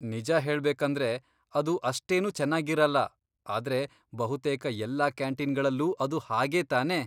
ನಿಜ ಹೇಳ್ಬೇಕಂದ್ರೆ, ಅದು ಅಷ್ಟೇನೂ ಚೆನ್ನಾಗಿರಲ್ಲ, ಆದ್ರೆ ಬಹುತೇಕ ಎಲ್ಲ ಕ್ಯಾಂಟೀನ್ಗಳಲ್ಲೂ ಅದು ಹಾಗೇ ತಾನೇ.